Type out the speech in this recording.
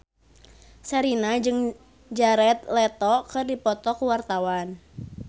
Sherina jeung Jared Leto keur dipoto ku wartawan